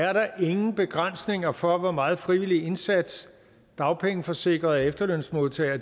er der ingen begrænsninger for hvor meget frivillig indsats dagpengeforsikrede og efterlønsmodtagere